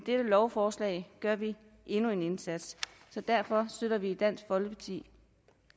lovforslag gør vi endnu en indsats så derfor støtter vi i dansk folkeparti